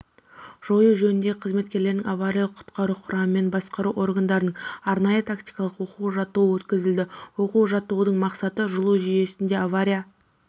жою жөніндегі қызметтерінің авариялық-құтқару құрамаларымен басқару органдарының арнайы-тактикалық оқу-жаттығуы өткізілді оқу-жаттығудың мақсаты жылу жүйесінде авария